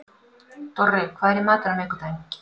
Dorri, hvað er í matinn á miðvikudaginn?